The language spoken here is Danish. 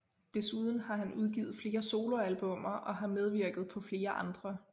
Desuden har han udgivet flere soloalbummer og har medvirket på flere andre